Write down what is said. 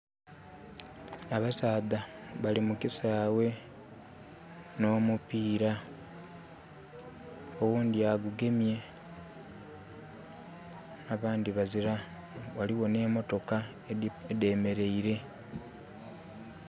Abasaadha bali mukisaawe n'omupiira. Owundi agugemye abandi bazira. Waliwo ne mmotoka edemeleire